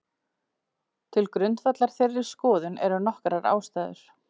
Til grundvallar þeirri skoðun eru nokkrar ástæður.